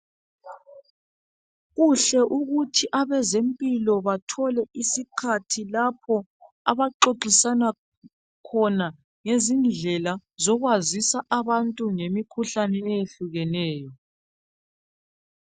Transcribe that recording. Kuhle ukuthi abezempilo bathole isikhathi lapho abaxoxisana khona ngezindlela zokwazisa abantu ngemikhuhlane eyehlukeneyo